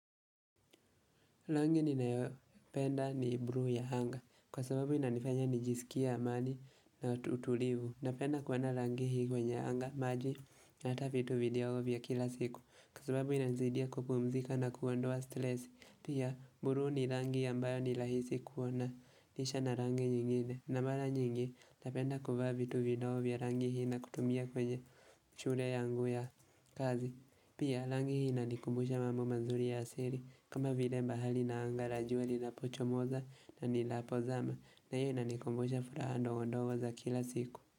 Rangi ninayopenda ni buluu ya anga kwa sababu inanifanya nijisikie amani na utulivu. Napenda kuona rangi hii kwenye anga, maji hata vitu vidogo vya kila siku Kwa sababu inanisaidia kupumzika na kuondoa stress. Pia, buluu ni rangi ambayo ni rahisi kuendanisha na rangi nyingine. Na mara nyingi napenda kuvaa vitu vidogo vya rangi hii na kutumia kwenye shule yangu ya kazi. Pia, rangi hii inanikumbusha mambo mazuri ya asili kama vile bahari na anga la jua linapochomoza na linapozama na hii inanikumbusha furaha ndogo ndogo za kila siku.